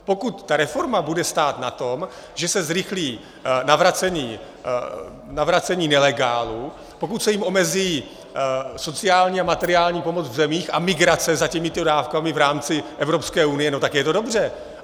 Pokud ta reforma bude stát na tom, že se zrychlí navracení nelegálů, pokud se jim omezí sociální a materiální pomoc v zemích a migrace za těmito dávkami v rámci Evropské unie, no tak je to dobře.